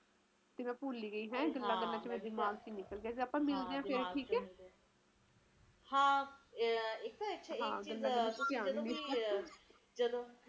ਹੁਣ ਲੋਕ ਚਾਉਂਦੇ ਆ ਕਿ ਸਾਨੂੰ ਇਧਰੋਂ ਵੀ ਸਹੂਲਤ ਮਿਲੇ ਤੇ ਓਧਰੋਂ ਵੀ ਮੌਸਮ ਵੀ ਵਧੀਆ ਰਹੇ ਤੇ ਇਹ ਦੋਨੋ ਚੀਜ਼ਾਂ ਇੱਕਠੀਆਂ ਨਹੀਂ ਹੋ ਸਕਦੀਆਂ ਨਾ ਸਰਕਾਰ ਵੀ ਕਿਥੋਂ ਤਕ ਕਰੇਗੀ ਉਹ ਹੁਣ ਤਰੱਕੀ ਦੇਖ਼ ਲੋਕ ਦੀ ਯਾ ਲੋਕਾਂ ਦੀ ਸਹੂਲਤ ਦੇਖ਼ ਦੋਨੋ ਚੀਜ਼ਾਂ ਇੱਕਠੀਆਂ ਨਹੀਂ